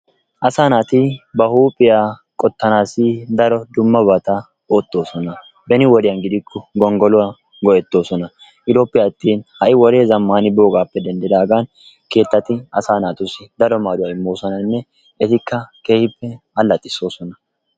Assa natti ba huphiyaa qottanassi daro dummabatta ottossonna benni wodiyan gidikko gongoluwa go'ettosona giddoppe attin ha'i wode zamani bogappe dendidagan kettati asaa natussi daro maduwa imosonnanne ettikaa kehi alaxisosonna.